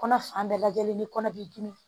Kɔnɔ fan bɛɛ lajɛlen ni kɔnɔ b'i dimi